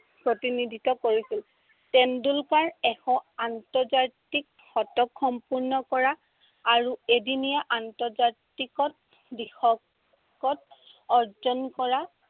প্ৰতিনিধিত্ব কৰিছিল। তেণ্ডলুকাৰ এশ আন্তজাতিক শতক সম্পূৰ্ণ কৰা আৰু এদিনীয়া আন্তৰ্জাতিকত দ্বিশতক অৰ্জন কৰা